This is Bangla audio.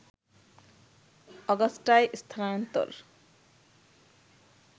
অগাস্টায় স্থানান্তর